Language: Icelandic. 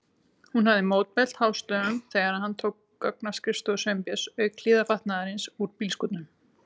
Hún hafði mótmælt hástöfum þegar hann tók gögn af skrifstofu Sveinbjörns, auk hlífðarfatnaðarins úr bílskúrnum.